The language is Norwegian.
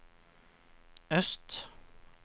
øst